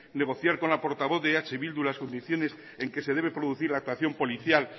negociar con la portavoz de eh bildu las condiciones en que se debe producir la actuación policial